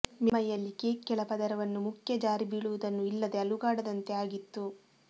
ಮೇಲ್ಮೈಯಲ್ಲಿ ಕೇಕ್ ಕೆಳ ಪದರವನ್ನು ಮುಖ್ಯ ಜಾರಿಬೀಳುವುದನ್ನು ಇಲ್ಲದೆ ಅಲುಗಾಡದಂತೆ ಆಗಿತ್ತು